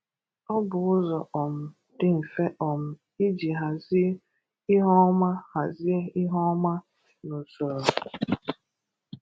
Ọ bụ ụzọ um dị mfe um iji hazie ihe ọma hazie ihe ọma na usoro.